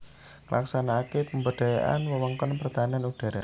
Nglaksanakaké pemberdayaan wewengkon pertahanan udhara